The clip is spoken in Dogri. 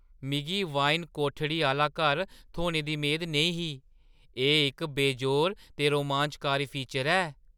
मिगी वाइन-कोठड़ी आह्‌ला घर थ्होने दी मेद नेईं ही –एह् इक बेजोड़ ते रोमांचकारी फीचर ऐ।